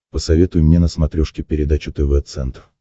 посоветуй мне на смотрешке передачу тв центр